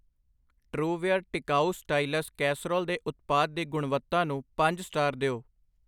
ਟ੍ਉਵੇਅਰ ਟਿਕਾਊ ਸਟਾਈਲਸ ਕਸਰੋਲ ਦੇ ਉਤਪਾਦ ਦੀ ਗੁਣਵੱਤਾ ਨੂੰ ਪੰਜ ਸਟਾਰ ਦਿਓ I